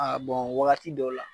Aa wagati dɔw la